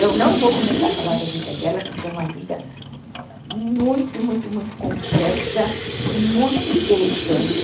Eu não vou começar a falar da vida dela, porque é uma vida muito, muito, muito complexa, muito interessante.